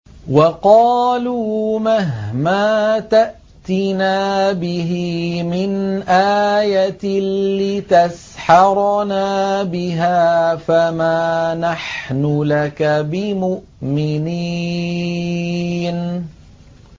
وَقَالُوا مَهْمَا تَأْتِنَا بِهِ مِنْ آيَةٍ لِّتَسْحَرَنَا بِهَا فَمَا نَحْنُ لَكَ بِمُؤْمِنِينَ